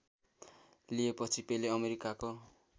लिएपछि पेले अमेरिकाको